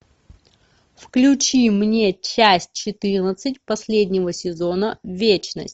включи мне часть четырнадцать последнего сезона вечность